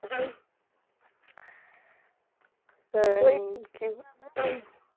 উম কি